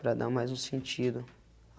Para dar mais um sentido.